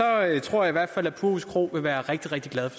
jeg tror i hvert fald at purhus kro vil være rigtig rigtig glad